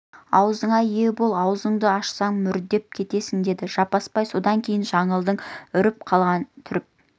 аузыңа ие бол аузыңды ашсаң мүрдем кетесің деді жаппасбай содан кейін жаңылдың үркіп қалған түріп